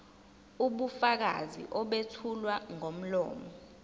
ubufakazi obethulwa ngomlomo